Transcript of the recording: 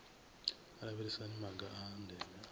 lavhelesa maga a ndeme a